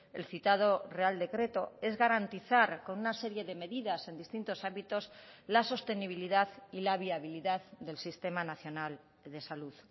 el citado real decreto es garantizar con una serie de medidas en distintos ámbitos la sostenibilidad y la viabilidad del sistema nacional de salud